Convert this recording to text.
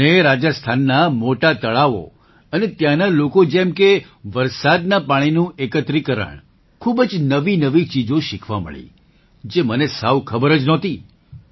મને રાજસ્થાનનાં મોટાં તળાવો અને ત્યાંના લોકો જેમ કે વરસાદના પાણીનું એકત્રીકરણખૂબ જ નવીનવી ચીજો શીખવા મળી જે મને સાવ ખબર જ નહોતી